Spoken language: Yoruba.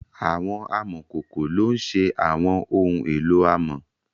Awọn amọkoko lo n ṣe awọn ohun elo amọ